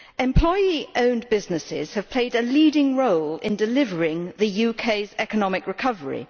Employee owned businesses have played a leading role in delivering the UK's economic recovery.